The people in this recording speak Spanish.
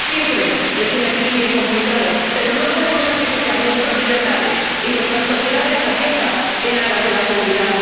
Siempre es un equilibrio complicado, pero no podemos sacrificar nuestras libertades y nuestras sociedades abiertas en aras de la seguridad.